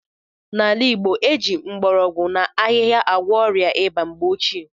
N'ala Igbo, e ji mgbọrọgwụ na ahịhịa agwọ ọrịa ịba mgbe ochie.